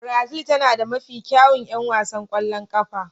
Brazil tana da mafi kyawun 'yan wasan ƙwallon ƙafa.